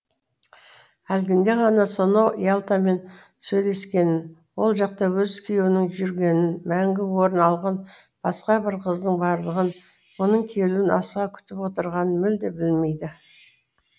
әлгінде ғана сонау ялтамен сөйлескенін ол жақта өз күйеуінің жүргенін мәңгі орын алған басқа бір қыздың барлығын мұның келуін асыға күтіп отырғанын мүлде білмейді